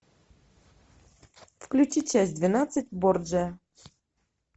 включи часть двенадцать борджиа